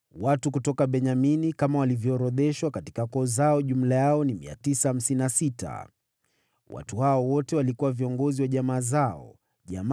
Watu kutoka Benyamini kama walivyoorodheshwa katika koo zao jumla yao ni 956. Watu hawa wote walikuwa viongozi wa jamaa zao.